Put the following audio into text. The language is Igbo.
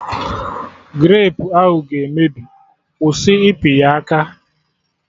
Grapu ahụ ga-emebi, kwụsị ịpị ya aka!